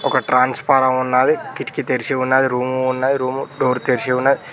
ఒకరు ట్రాన్స్ఫార్మర్ ఉన్నది కిటికీ తెరిచి ఉన్నది రూమ్ ఉన్నది రూమ్ డోర్ తెరిచి ఉన్నది.